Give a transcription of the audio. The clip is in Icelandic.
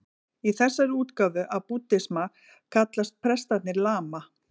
Í þessari útgáfu af búddisma kallast prestarnir lama.